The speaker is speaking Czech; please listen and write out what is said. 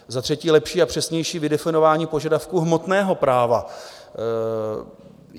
Za třetí lepší a přesnější vydefinování požadavků hmotného práva.